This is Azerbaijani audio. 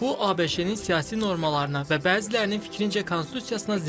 Bu ABŞ-nin siyasi normalarına və bəzilərinin fikrincə konstitusiyasına ziddir.